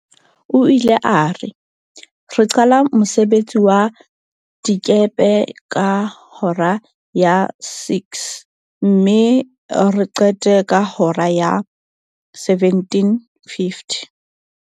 O ile a re, re qala ka mosebetsi wa dikepe ka hora ya 06:00 mme re qete ka hora ya 17:50.